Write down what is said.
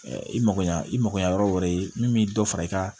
i mago ɲɛ i mako ɲɛ yɔrɔ wɛrɛ min bɛ dɔ fara i ka